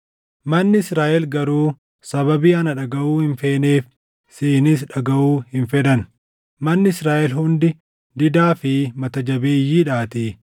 Manni Israaʼel garuu sababii ana dhagaʼuu hin feeneef siinis dhagaʼuu hin fedhan; manni Israaʼel hundi didaa fi mata jabeeyyiidhaatii.